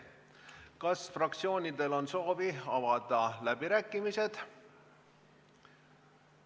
Kas fraktsioonidel on soovi avada läbirääkimisi?